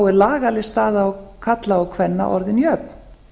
er lagaleg staða karla og kvenna orðin jöfn